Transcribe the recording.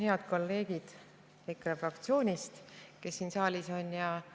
Head kolleegid EKRE fraktsioonist, kes siin saalis on!